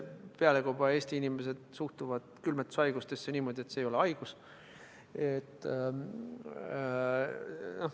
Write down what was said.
Pealekauba Eesti inimesed suhtuvad külmetushaigusesse niimoodi, et see ei ole haigus.